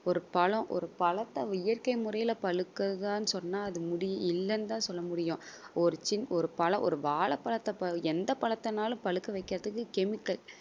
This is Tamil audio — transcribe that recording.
ஒரு பழம் ஒரு பழத்தை இயற்கை முறையில பழுக்குதான்னு சொன்னா அது முடி~ இல்லன்னு தான் சொல்ல முடியும். ஒரு சின்~ ஒரு பழம் ஒரு வாழைப்பழத்தை பழ~ எந்த பழத்தைனாலும் பழுக்க வைக்கிறதுக்கு chemical